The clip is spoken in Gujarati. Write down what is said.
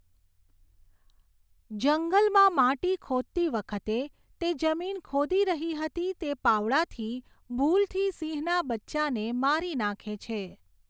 જંગલમાં માટી ખોદતી વખતે, તે જમીન ખોદી રહી હતી તે પાવડાથી ભૂલથી સિંહના બચ્ચાને મારી નાખે છે.